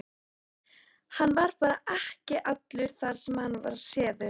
Hann var bara ekki allur þar sem hann var séður.